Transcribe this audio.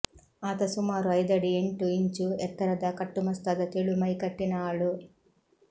ಆತ ಸುಮಾರು ಐದಡಿ ಎಂಟು ಇಂಚು ಎತ್ತರದ ಕಟ್ಟುಮಸ್ತಾದ ತೆಳು ಮೈಕಟ್ಟಿನ ಆಳು